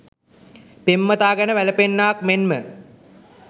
පෙම්වතා ගැන වැළපෙන්නාක් මෙන් ම